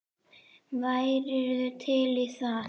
Værirðu til í það?